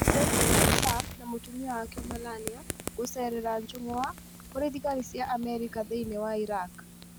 President Donald Trump na mũtumia wake Melania gũceera njũng'wa kũrĩ thigari cia Amerika thĩinĩ wa Iraq